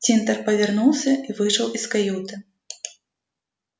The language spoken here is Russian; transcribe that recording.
тинтер повернулся и вышел из каюты